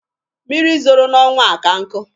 Mmiri zoro n'ọnwa a ka nkụ.